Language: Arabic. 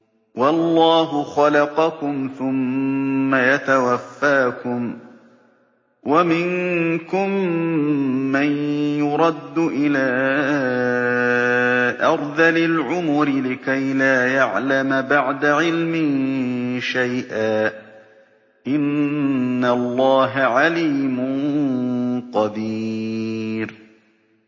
وَاللَّهُ خَلَقَكُمْ ثُمَّ يَتَوَفَّاكُمْ ۚ وَمِنكُم مَّن يُرَدُّ إِلَىٰ أَرْذَلِ الْعُمُرِ لِكَيْ لَا يَعْلَمَ بَعْدَ عِلْمٍ شَيْئًا ۚ إِنَّ اللَّهَ عَلِيمٌ قَدِيرٌ